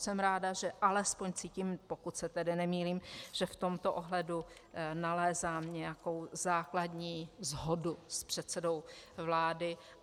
Jsem ráda, že alespoň cítím, pokud se tedy nemýlím, že v tomto ohledu nalézám nějakou základní shodu s předsedou vlády.